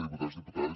diputats diputades